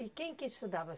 E quem que estudava?